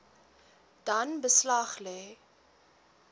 dan beslag lê